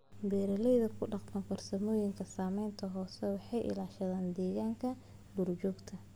Beeralayda ku dhaqma farsamooyinka saamaynta hoose waxay ilaashadaan deegaanka duurjoogta.